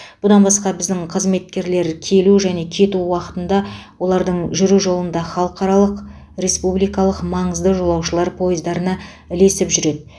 бұдан басқа біздің қызметкерлер келу және кету уақытында олардың жүру жолында халықаралық республикалық маңызды жолаушылар поездарына ілесіп жүреді